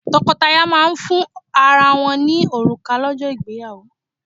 Tọ́kọtaya máà ń fún ara wọ́n ní òrùka lọ́jọ́ ìgbéyàwó.